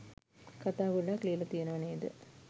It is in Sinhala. කතා ගොඩක් ලියල තියනව නේද?